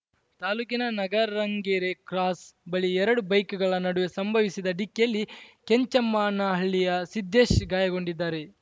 ತಾಲೂಕಿನ ನಗರಂಗೆರೆ ಕ್ರಾಸ್‌ ಬಳಿ ಎರಡು ಬೈಕ್‌ಗಳ ನಡುವೆ ಸಂಭವಿಸಿದ ಡಿಕ್ಕಿಯಲ್ಲಿ ಕೆಂಚಮ್ಮನಹಳ್ಳಿಯ ಸಿದ್ದೇಶ್‌ ಗಾಯಗೊಂಡಿದ್ದಾರೆ